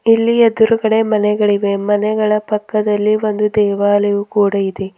ಇಲ್ಲಿ ಎದ್ರುಗಡೆ ಮನೆಗಳಿವೆ ಮನೆಗಳ ಪಕ್ಕದಲ್ಲಿ ಒಂದು ದೇವಾಲಯ ಕೂಡ ಇದೆ.